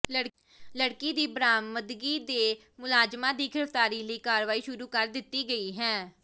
ਲੜਕੀ ਦੀ ਬਰਾਮਦਗੀ ਤੇ ਮੁਲਜ਼ਮਾਂ ਦੀ ਗਿ੍ਫਤਾਰੀ ਲਈ ਕਾਰਵਾਈ ਸ਼ੁਰੂ ਕਰ ਦਿੱਤੀ ਗਈ ਹੈ